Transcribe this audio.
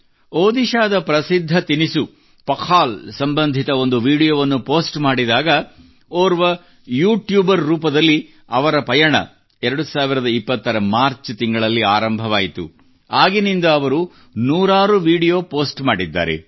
ಒಡಿಶ್ಸಾದ ಪ್ರಸಿದ್ಧ ತಿನಿಸು ಪಖಾಲ್ ಸಂಬಂಧಿತ ಒಂದು ವಿಡಿಯೋವನ್ನು ಪೋಸ್ಟ್ ಮಾಡಿದಾಗ ಓರ್ವ ಯೂಟ್ಯೂಬರ್ ರೂಪದಲ್ಲಿ ಅವರ ಪಯಣ 2020 ರ ಮಾರ್ಚ್ ತಿಂಗಳಲ್ಲಿ ಆರಂಭವಾಯಿತು ಆಗಿನಿಂದ ಅವರು ನೂರಾರು ವಿಡಿಯೋ ಪೋಸ್ಟ್ ಮಾಡಿದ್ದಾರೆ